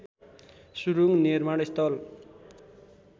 सुरूङ निर्माण स्थल